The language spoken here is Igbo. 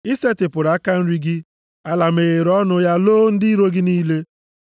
“I setịpụrụ aka nri gị, ala meghere ọnụ ya loo ndị iro gị niile.